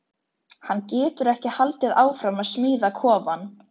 Hann getur ekki haldið áfram að smíða kofann.